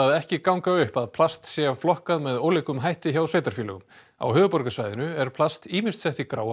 ekki ganga upp að plast sé flokkað með ólíkum hætti hjá sveitarfélögum á höfuðborgarsvæðinu er plast ýmist sett í gráar